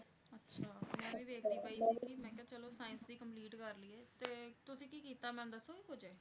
ਅੱਛਾ ਮੈਂ ਵੀ ਵੇਖਦੀ ਪਈ ਸੀ ਕਿ ਮੈਂ ਕਿਹਾ ਚਲੋ science ਦੀ complete ਕਰ ਲਈਏ ਤੇ ਤੁਸੀਂ ਕੀ ਕੀਤਾ ਮੈਨੂੰ ਦੱਸੋਗੇ ਕੁੱਝ?